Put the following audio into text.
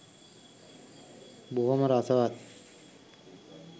බොහොම රසවත්.